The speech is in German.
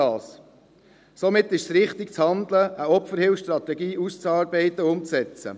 Somit ist es richtig zu handeln, eine Opferhilfestrategie auszuarbeiten und umzusetzen.